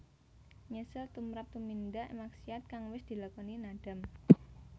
Nyesel tumrap tumindak maksiat kang wis dilakoni nadam